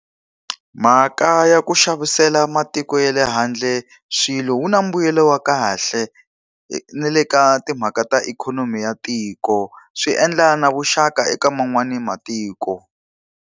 Mhaka ya ku xavisela matiko ya le handle swilo wu na mbuyelo wa kahle na le ka timhaka ta ikhonomi ya tiko. Swi endla na vuxaka eka man'wana matiko.